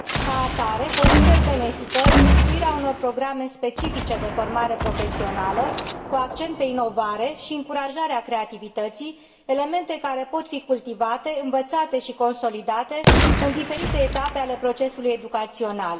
Ca atare, consider benefică instituirea unor programe specifice de formare profesională, cu accent pe inovare și încurajarea creativității, elemente care pot fi cultivate, învățate și consolidate în diferite etape ale procesului educațional.